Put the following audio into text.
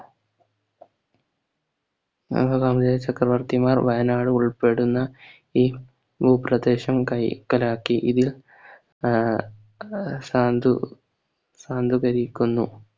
ചക്രവർത്തിമാർ വയനാട് ഉൾപ്പെടുന്ന ഈ ഭൂപ്രദേശം കൈക്കൽ ആക്കി ഇതിൽ ആഹ് സാന്ദൂ സാന്ദൂ ഭരിക്കുന്നു